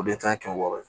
O de ta ye kɛmɛ wɔɔrɔ ye